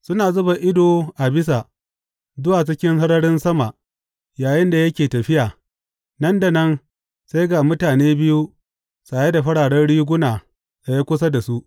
Suna zuba ido a bisa, zuwa cikin sararin sama yayinda yake tafiya, nan da nan, sai ga mutane biyu saye da fararen riguna tsaye kusa da su.